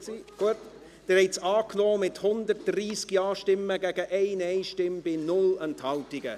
Sie haben den Bericht angenommen, mit 130 Ja-Stimmen gegen 1 Nein-Stimme bei 0 Enthaltungen.